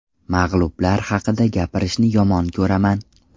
Mag‘lublar haqida gapirishni yomon ko‘raman.